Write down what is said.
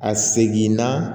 A segin na